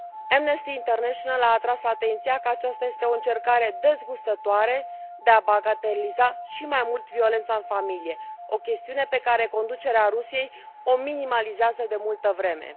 Amnesty International a atras atenția că aceasta este o încercare dezgustătoare de a bagateliza și mai mult violența în familie, o chestiune pe care conducerea Rusiei o minimalizează de multă vreme.